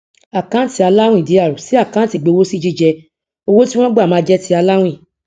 àkáǹtì aláwìn dr sí àkáǹtì ìgbowósí jíjẹ owó tí wón gbà ma jẹ ti aláwìn